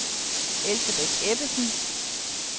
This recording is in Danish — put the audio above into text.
Elsebeth Ebbesen